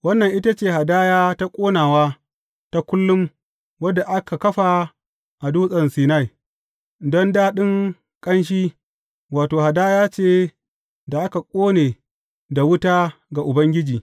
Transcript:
Wannan ita ce hadaya ta ƙonawa ta kullum wadda aka kafa a Dutsen Sinai, don daɗin ƙanshi, wato, hadaya ce da aka ƙone da wuta ga Ubangiji.